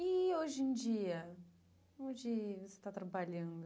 E hoje em dia, onde você está trabalhando?